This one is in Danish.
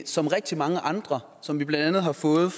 som rigtig mange andre som vi blandt andet har fået